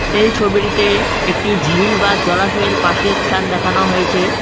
এই ছবিটিতে একটি ঝিল বা জলাশয়ের পাশের স্থান দেখানো হয়েছে।